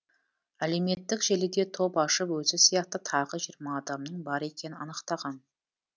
әлеуметтік желіде топ ашып өзі сияқты тағы жиырма адамның бар екенін анықтаған